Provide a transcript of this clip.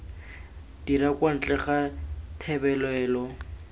dira kwa ntle ga thebolelo